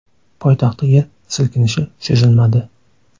Poytaxtda yer silkinishi sezilmadi.